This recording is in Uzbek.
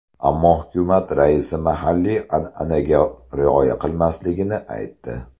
Ammo hukumat raisi mahalliy an’anaga rioya qilmasligini aytdi.